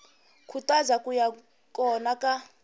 khutaza ku va kona ka